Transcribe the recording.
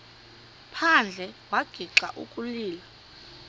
phandle wagixa ukulila